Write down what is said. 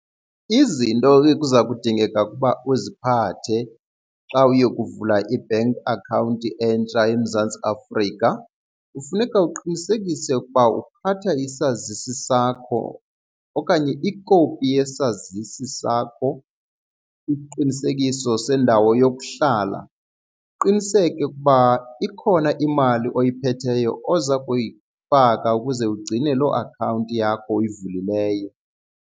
Izinto ke kuza kudingeka ukuba uziphathe xa uye ukuvula i-bank account entsha eMzantsi Afrika kufuneka uqinisekise ukuba uphatha isazisi sakho okanye ikopi yesazisi sakho, isiqinisekiso sendawo yokuhlala, uqiniseke ukuba ikhona imali oyiphetheyo oza kuyifaka ukuze ugcine loo akhawunti yakho uyivulileyo.